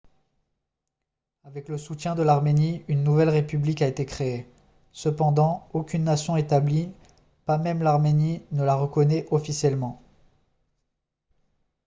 avec le soutien de l'arménie une nouvelle république a été créée cependant aucune nation établie pas même l'arménie ne la reconnaît officiellement